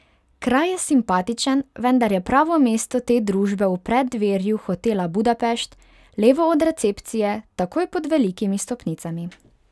Kraj je simpatičen, vendar je pravo mesto te družbe v preddverju Hotela Budapest, levo od recepcije, takoj pod velikimi stopnicami.